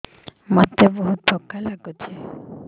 ମୋତେ ବହୁତ୍ ଥକା ଲାଗୁଛି